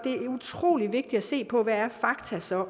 utrolig vigtigt at se på hvad fakta så